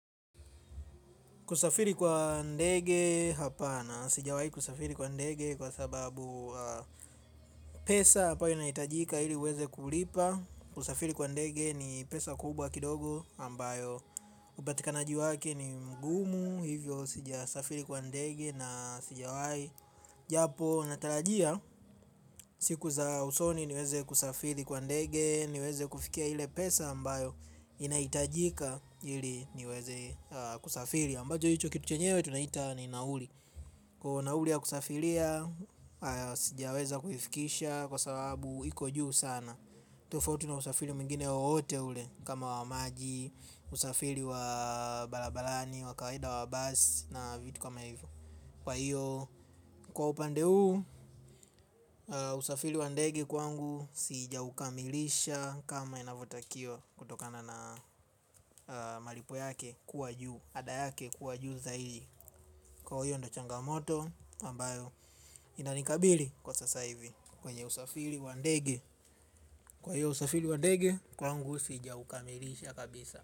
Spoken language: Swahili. Kusafiri kwa ndege hapana sijawai kusafiri kwa ndege kwa sababu pesa hapa inaitajika ili uweze kulipa. Kusafiri kwa ndege ni pesa kubwa kidogo ambayo upatikanaji wake ni mgumu hivyo sijasafiri kwa ndege na sijawai. Japo natarajia siku za usoni niweze kusafiri kwa ndege niweze kufikia ile pesa ambayo inaitajika ili niweze kusafiri ambacho hicho kitu chenyewe tunaita ni nauli kwa nauli ya kusafilia sijaweza kufikisha kwa sababu iko juu sana tofauti na usafili mwingine wowote ule kama wa maji usafili wa balabalani wa kawaida wa basi na vitu kama hivyo kwa hivyo kwa upande huu usafili wa ndege kwangu sijaukamilisha kama inavyotakio kutokana na malipo yake kuwa juu ada yake kuwa juu zaidi. Kwa hiyo ndo changamoto ambayo inanikabili kwa sasa hivi. Kwenye usafili wa ndege kwa hiyo usafili wa ndege kwangu sijaukamilisha kabisa.